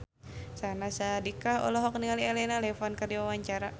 Syahnaz Sadiqah olohok ningali Elena Levon keur diwawancara